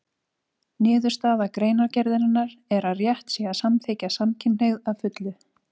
Niðurstaða greinargerðarinnar er að rétt sé að samþykkja samkynhneigð að fullu.